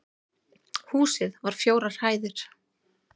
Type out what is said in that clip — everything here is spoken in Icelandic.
Húsið var fjórar hæðir